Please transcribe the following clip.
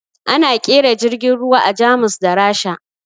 Ana ƙera jirgin ruwa a Jamus da Rasha